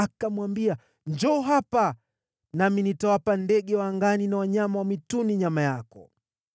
Tena Mfilisti akamwambia, “Njoo hapa, nami nitawapa ndege wa angani na wanyama wa mwituni nyama yako.”